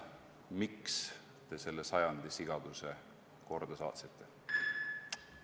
See on küsimus: miks te selle sajandi sigaduse korda saatsite?